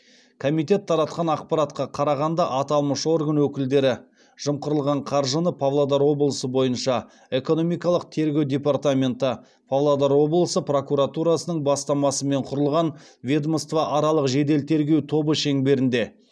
комитет таратқан ақпаратқа қарағанда аталмыш орган өкілдері жымқырылған қаржыны павлодар облысы бойынша экономикалық тергеу департаменті павлодар облысы прокуратурасының бастамасымен құрылған ведомствоаралық жедел тергеу тобы шеңберінде